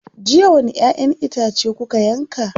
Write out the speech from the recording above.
Jiya wani ƴaʼƴen itace kuka yanka.